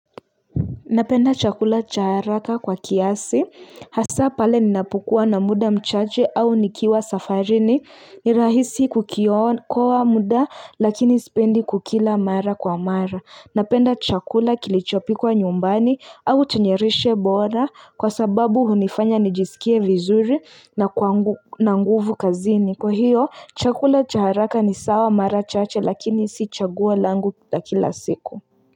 Napenda chakula cha haraka kwa kiasi, hasa pale ninapukuwa na muda mchache au nikiwa safarini, ni rahisi kuokoa kwa muda lakini sipendi kukila mara kwa mara. Napenda chakula kilichopikwa nyumbani au chenye lishe bora kwa sababu hunifanya nijisikie vizuri na nguvu kazini. Kwa hiyo, chakula cha haraka ni sawa mara chache lakini isi chaguo langu la kila siku.